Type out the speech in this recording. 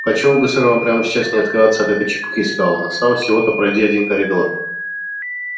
почему бы сэр вам прямо сейчас не отказаться от этой чепухи сказал он осталось всего-то пройди один коридор